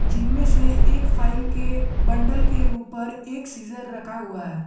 जिनमें से एक फाइल के बंडल के ऊपर एक सीजर रखा हुआ है।